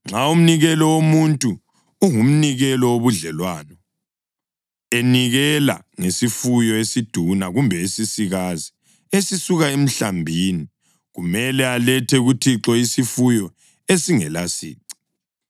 “ ‘Nxa umnikelo womuntu ungumnikelo wobudlelwano, enikela ngesifuyo esiduna kumbe esisikazi, esisuka emhlambini, kumele alethe kuThixo isifuyo esingalasici.